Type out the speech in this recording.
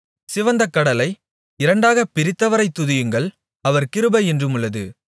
சிவந்த கடலை இரண்டாகப் பிரித்தவரைத் துதியுங்கள் அவர் கிருபை என்றுமுள்ளது